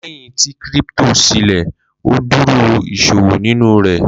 Lẹhin ti crypto silẹ, o duro iṣowo ninu rẹ